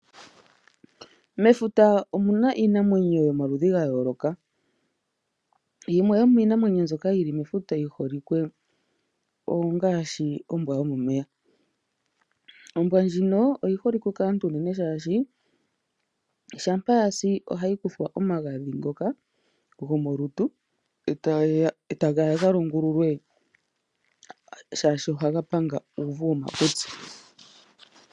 Mefuta omuna iinamwenyo yomaludhi gayooloka, yimwe yomiinamwenyo mbyoka yili mefuta yiholike ongaashi ombwa yomomeya. Ombwa ndjino oyiholike kaantu unene shaashi shampa yasi ohayikuthwa omagadhi ngoka gomoluntu etageya galongululwe shaashi ohaga panga uuvu womakutsi.